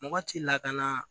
Mɔgɔ t'i lakana